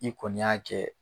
I kɔni y'a kɛ